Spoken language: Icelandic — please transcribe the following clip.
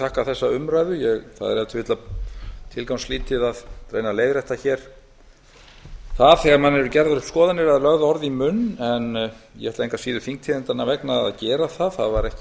þakka þessa umræðu það er ef til vill tilgangslítið að reyna að leiðrétta hér það þegar manni eru gerðar upp skoðanir eða lögð orð í munn en ég ætla engu að síður þingtíðindanna vegna að gera það það var ekki